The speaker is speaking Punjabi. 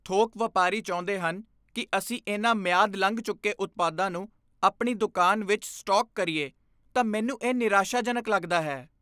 ਥੋਕ ਵਪਾਰੀ ਚਾਹੁੰਦੇ ਹਨ ਕਿ ਅਸੀਂ ਇਹਨਾਂ ਮਿਆਦ ਲੰਘ ਚੁੱਕੇ ਉਤਪਾਦਾਂ ਨੂੰ ਆਪਣੀ ਦੁਕਾਨ ਵਿੱਚ ਸਟਾਕ ਕਰੀਏ ਤਾਂ ਮੈਨੂੰ ਇਹ ਨਿਰਾਸ਼ਾਜਨਕ ਲੱਗਦਾ ਹੈ।